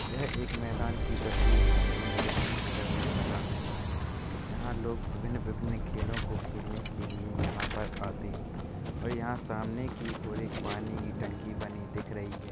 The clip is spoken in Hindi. यह एक मैदान की तस्वीर है जो मुजफ्फर नगर में बना हुआ है। यहा लोग विभिन्न-विभिन्न खेलो को खेलने के लिए यहाँ पर आते है और यंहा सामने की और एक पानी की टंकी बनी दिख रही है।